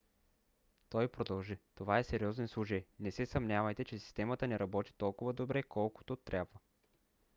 той продължи: това е сериозен случай. не се съмнявайте че системата ни работи толкова добре колкото трябва.